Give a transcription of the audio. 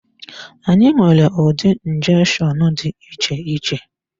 Anyị nwere ụdị njeshonu dị iche iche.